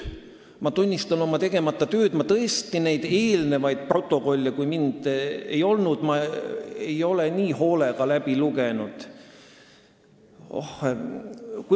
Ma tunnistan oma tegemata tööd, ma tõesti ei ole neid eelnevaid protokolle, mis on pärit sellest ajast, kui mind siin ei olnud, nii hoolega lugenud.